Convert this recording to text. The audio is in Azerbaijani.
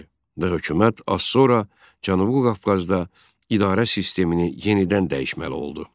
Və hökumət az sonra Cənubi Qafqazda idarə sistemini yenidən dəyişməli oldu.